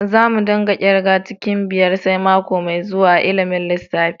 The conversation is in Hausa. Za mu dinga kirga cikin biyar sai mako mai zuwa a'ilimin lissafi.